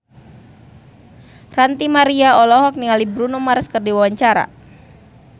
Ranty Maria olohok ningali Bruno Mars keur diwawancara